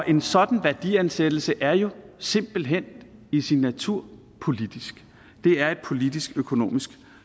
en sådan værdiansættelse er jo simpelt hen i sin natur politisk det er et politisk økonomisk